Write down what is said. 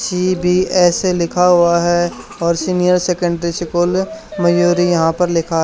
CBSE लिखा हुआ है और सीनियर सेकेंडरी सकूल मयूरी यहां पर लिखा है।